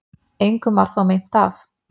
Engum var þó meint af.